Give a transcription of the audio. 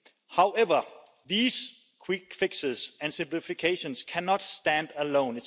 However, these quick fixes and simplifications cannot stand alone.